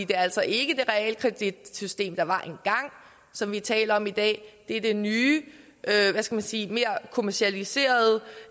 det altså ikke er det realkreditsystem der var engang som vi taler om i dag det er det nye hvad skal man sige mere kommercialiserede